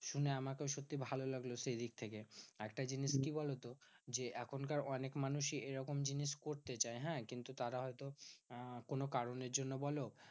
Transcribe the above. শুনে আমাকেও সত্যি ভালো লাগলো সেইদিক থেকে। আর একটা জিনিস কি বলতো? যে এখনকার অনেক মানুষই এরকম জিনিস করতে চায় হ্যাঁ? কিন্তু তারা হয়তো আহ কোনো কারণের জন্য বোলো